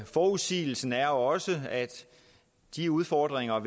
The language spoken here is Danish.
forudsigelsen er også at de udfordringer